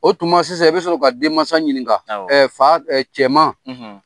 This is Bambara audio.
O tuma sisan i bɛ sɔrɔ ka den mansa ɲininka awɔ fa cɛman